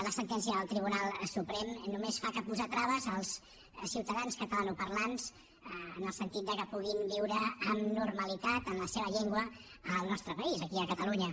la sentència del tribunal suprem només fa que posar traves als ciutadans catalanoparlants en el sentit que puguin viure amb normalitat en la seva llengua al nostre país aquí a catalunya